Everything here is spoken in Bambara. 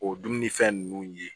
O dumunifɛn ninnu ye